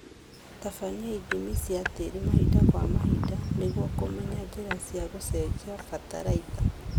Tabania ithimi cia tĩri mahinda kwa mahinda nĩguo kũmenya njĩra cia gũshenjia bataraitha